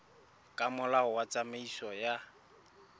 ka molao wa tsamaiso ya